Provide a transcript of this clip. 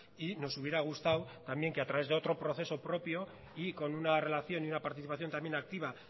y nos hubiera gustado también que a través de otro proceso propio y con una relación y una participación también activa